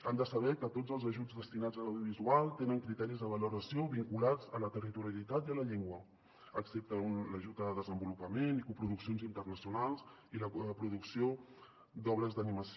han de saber que tots els ajuts destinats a l’audiovisual tenen criteris de valoració vinculats a la ter·ritorialitat i a la llengua excepte l’ajut a desenvolupament i coproduccions interna·cionals i la producció d’obres d’animació